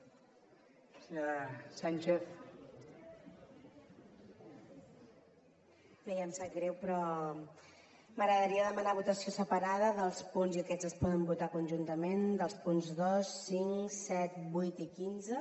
bé em sap greu però m’agradaria demanar votació separada dels punts i aquests es poden votar conjuntament dos cinc set vuit i quinze